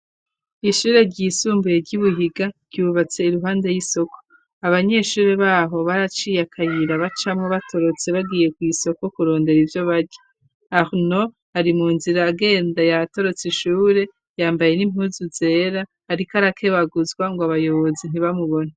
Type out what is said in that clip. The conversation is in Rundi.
Ishure ryisumbuye ry'ibuhiga ryubatse iruhande y'isoko abanyeshure baho baraciye akayira bacamu batorotse bagiye ku isoko kurondera ibyo baja arno ari mu nzira agenda yatorotse ishure yambaye n'impuzu zera ari k arake baguzwa ngo abayobozi ntibamubone.